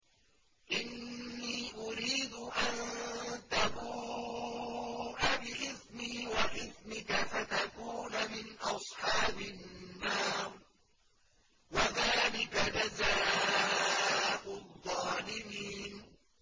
إِنِّي أُرِيدُ أَن تَبُوءَ بِإِثْمِي وَإِثْمِكَ فَتَكُونَ مِنْ أَصْحَابِ النَّارِ ۚ وَذَٰلِكَ جَزَاءُ الظَّالِمِينَ